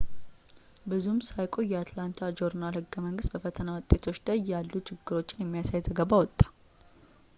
ብዙም ሳይቆይ የአትላንታ ጆርናል-ህገ-መንግስት በፈተና ውጤቶች ላይ ያሉ ችግሮችን የሚያሳይ ዘገባ አወጣ